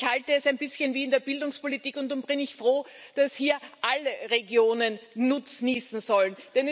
Ich halte es ein bisschen wie in der Bildungspolitik, und darum bin ich froh, dass hier alle Regionen nutznießen sollen.